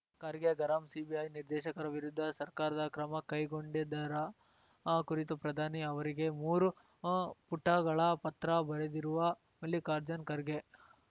ಖರ್ಗೆ ಗರಂ ಸಿಬಿಐ ನಿರ್ದೇಶಕರ ವಿರುದ್ಧ ಸರ್ಕಾರದ ಕ್ರಮ ಕೈಗೊಂಡಿದ್ದರ ಕುರಿತು ಪ್ರಧಾನಿ ಅವರಿಗೆ ಮೂರು ಪುಟಗಳ ಪತ್ರ ಬರೆದಿರುವ ಮಲ್ಲಿಕಾರ್ಜುನ್ ಖರ್ಗೆ